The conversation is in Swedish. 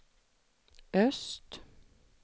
öst